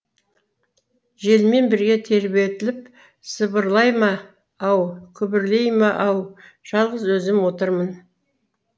желмен бірге тербетіліп сыбырлай ма ау күбірлейме ау жалғыз өзім отырмын